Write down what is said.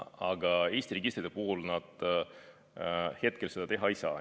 Aga Eesti registrite puhul nad hetkel seda teha ei saa.